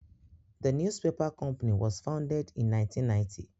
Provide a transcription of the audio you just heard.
Íà äàííûé ãîä â 1990 ãîäó â 1990 ãîäó.